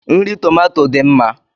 Nri tomato dị mma